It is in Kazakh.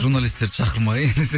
журналистерді шақырмай десе